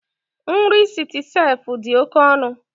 Nri Citicef dị oke ọnụ